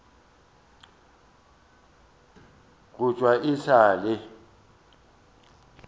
go thwe e sa le